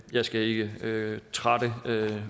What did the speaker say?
jeg skal ikke trætte